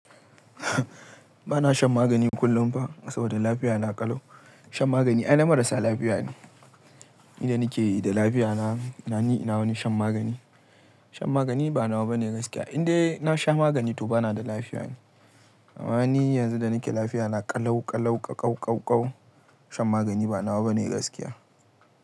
Ba na shan magani kullum ba saboda lafiya na ƙalau. Shan magani ai na marasa lafiya ne. Inda nike da lafiya na, na ni ina wani shan magani. Shan magani ba nawa bane gaskiya. Indai na sha magani to ba na da lafiya ne. Ama ni yanzu da nike lafiya na ƙalau ƙalau, ƙau ƙau ƙau. Shan magani ba nawa bane gaskiya.